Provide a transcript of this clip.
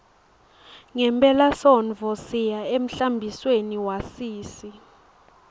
ngephelasontfo siya emhlambisweni wasisi